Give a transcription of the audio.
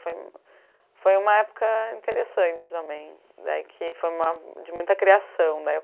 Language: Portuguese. Foi foi uma época interessante também, daí que, de muita criação.